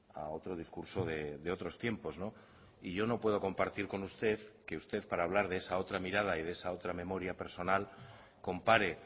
a otro discurso de otros tiempos y yo no puedo compartir con usted que usted para hablar de esa otra mirada y de esa otra memoria personal compare